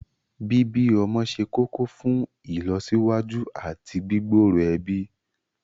Bíbí ọmọ ṣe kókó fún ìlọsíwájú àti gbígbòòrò ẹbí